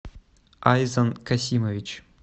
айзан касимович